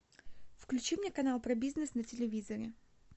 включи мне канал про бизнес на телевизоре